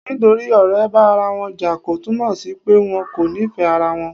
Nítorí ọ̀rẹ́ bá ara wọn jà, kò túnmọ sí pé wọn kò nífẹ̀ẹ́ ara wọn.